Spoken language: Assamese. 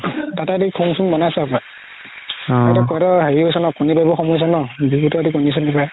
তাতে বনাইছে হপাই